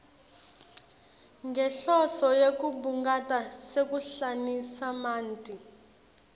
ngenhloso yekubungata sehlukanisamanti